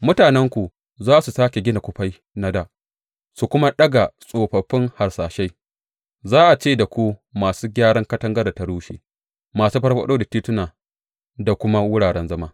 Mutanenku za su sāke gina kufai na da su kuma daga tsofaffin harsashai; za a ce da ku Masu Gyaran Katangar da ta Rushe, Masu Farfaɗo da Tituna da kuma Wuraren zama.